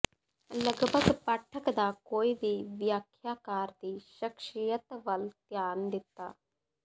ਲਗਭਗ ਪਾਠਕ ਦਾ ਕੋਈ ਵੀ ਵਿਆਖਿਆਕਾਰ ਦੀ ਸ਼ਖ਼ਸੀਅਤ ਵੱਲ ਧਿਆਨ ਦਿੱਤਾ